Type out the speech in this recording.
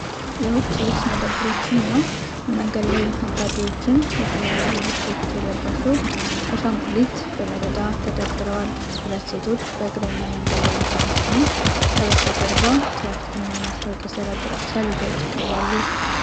የውጪ ልብስ መደብሮችንና የመንገድ ላይ ነጋዴዎችን ። የተለያዩ ልብሶች የለበሱ ብዙ አሻንጉሊት በመደዳ ተደርድረዋል። ሁለት ሴቶች በእግረኛ መንገድ ላይ እየሄዱ ሲሆን፣ ከበስተጀርባ ትራፊክ እና የማስታወቂያ ሰሌዳዎች ይታያሉ።